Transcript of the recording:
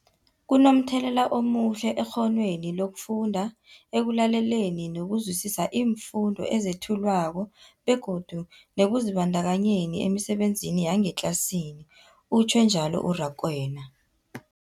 Kunomthelela omuhle ekghonweni lokufunda, ekulaleleni nokuzwisiswa iimfundo ezethulwako begodu nekuzibandakanyeni emisebenzini yangetlasini, utjhwe njalo u-Rakwena.